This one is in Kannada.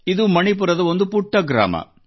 ಇದು ಮಣಿಪುರದ ಒಂದು ಪುಟ್ಟ ಗ್ರಾಮ